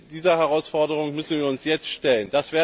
Dieser Herausforderung müssen wir uns jetzt stellen.